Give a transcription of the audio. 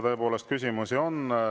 Tõepoolest, küsimusi on.